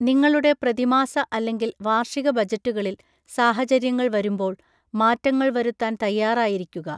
നിങ്ങളുടെ പ്രതിമാസ അല്ലെങ്കിൽ വാർഷിക ബജറ്റുകളിൽ സാഹചര്യങ്ങൾ വരുമ്പോൾ മാറ്റങ്ങൾ വരുത്താൻ തയ്യാറായിരിക്കുക.